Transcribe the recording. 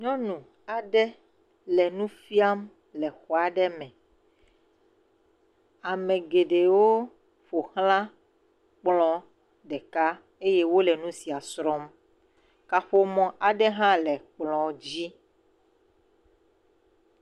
Nyɔnu aɖe le nu fiam le xɔ aɖe me. Ame geɖewo ƒo xlã kplɔ̃ ɖeka eye wole nu sia srɔ̃m. Kaƒomɔ aɖe hã le kplɔ̃ dzi.